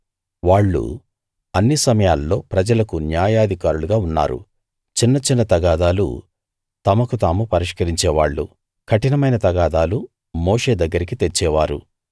వాళ్ళు అన్ని సమయాల్లో ప్రజలకు న్యాయాధికారులుగా ఉన్నారు చిన్న చిన్న తగాదాలు తమకు తాము పరిష్కరించేవాళ్ళు కఠినమైన తగాదాలు మోషే దగ్గరికి తెచ్చేవారు